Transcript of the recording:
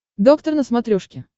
доктор на смотрешке